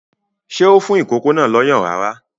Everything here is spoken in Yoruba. Ṣé ó fún ìkókó náà lọ́yàn rárá?